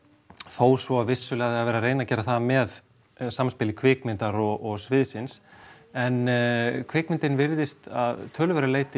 þó svo að vissulega sé verið að reyna að gera það með samspili kvikmyndar og sviðsins en kvikmyndin virðist að töluverðu leyti